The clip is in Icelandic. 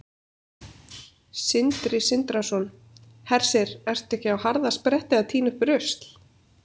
Sindri Sindrason: Hersir, ertu ekki á harðaspretti að tína upp rusl?